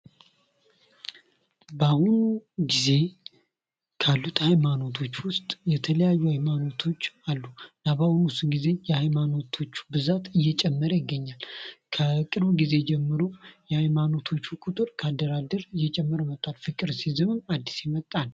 በአሁኑ ጊዜ ካሉት ሃይማኖቶች ውስጥ የተለያዩ ሃይማኖቶች አሉ። እና ብዙ ግዜ የሃይማኖቶቹ ብዛት እየጨመረ ይገኛል። ከቅርብ ጊዜ ጀምሮ የሀይማኖቶች ቁጥር እየጨመረ መጥቷል ፍቅር ሲይዝም አዲስ ሃይማኖት ነው።